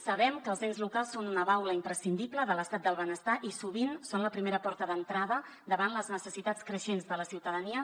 sabem que els ens locals són una baula imprescindible de l’estat del benestar i sovint són la primera porta d’entrada davant les necessitats creixents de la ciutadania